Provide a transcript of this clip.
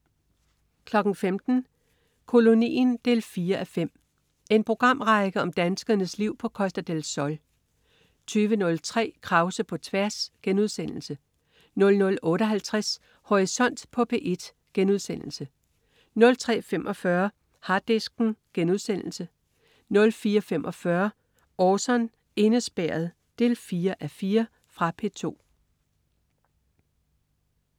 15.00 Kolonien 4:5. En programrække om danskernes liv på Costa del Sol 20.03 Krause på tværs* 00.58 Horisont på P1* 03.45 Harddisken* 04.45 Orson: Indespærret 4:4. Fra P2